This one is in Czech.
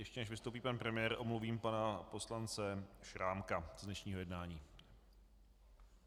Ještě než vystoupí pan premiér, omluvím pana poslance Šrámka z dnešního jednání.